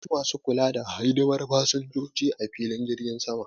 Akwai Masu kula da hidimar fassinjoji ah filin jirgin Sama.